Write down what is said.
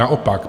Naopak.